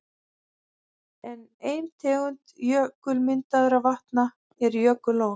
Enn ein tegund jökulmyndaðra vatna eru jökullón.